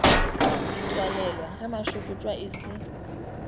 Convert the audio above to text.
tswalelwa ge mašokotšo e se